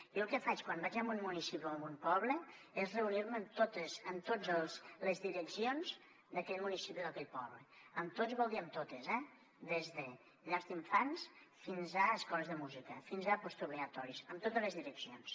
jo el que faig quan vaig en un municipi o en un poble és reunir me amb totes les direccions d’aquell municipi o d’aquell poble amb totes vol dir amb totes eh des de llars d’infants fins a escoles de música fins a postobligatoris amb totes les direccions